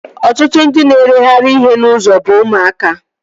Ọtụtụ ndị na-ereghari ihe n'ụzọ bụ ụmụaka